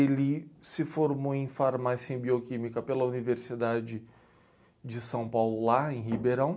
Ele se formou em farmácia e em bioquímica pela Universidade de São Paulo, lá em Ribeirão.